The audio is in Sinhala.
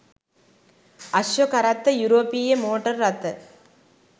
අශ්ව කරත්ත යුරෝපීය මෝටර් රථ